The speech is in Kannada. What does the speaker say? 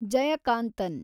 ಜಯಕಾಂತನ್